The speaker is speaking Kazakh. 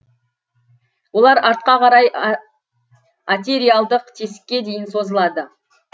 олар артқа қарай атериалдық тесікке дейін созылады